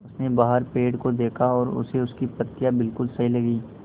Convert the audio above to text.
उसने बाहर पेड़ को देखा और उसे उसकी पत्तियाँ बिलकुल सही लगीं